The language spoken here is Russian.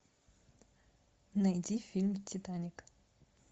найди фильм титаник